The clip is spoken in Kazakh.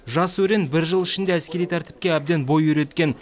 жас өрен бір жыл ішінде әскери тәртіпке әбден бой үйреткен